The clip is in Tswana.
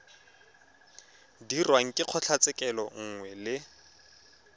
dirwang ke kgotlatshekelo nngwe le